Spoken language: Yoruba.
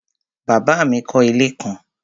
Bàbá mi kọ́ ilé kan